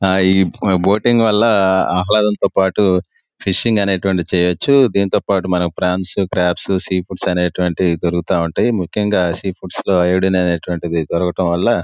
ఆ ఈ బోటింగ్ వల్ల ఆహ్లదంతో పాటు ఫిషింగ్ అనేటువంటి చెయ్యొచ్చు దీనితో పాటు ఫ్రాన్స్ క్రాబ్స్ సి ఫుడ్స్ అనేటటువంటివి దొరుకుతా ఉంటాయి ముఖ్యంగా సి ఫుడ్స్ లో ఐయోడిన్ అటువంటిది దొరకడం వల్ల --